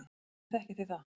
Hvernig þekkið þið það?